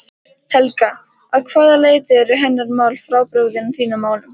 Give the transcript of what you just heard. Helga: Að hvaða leyti eru hennar mál frábrugðin þínum málum?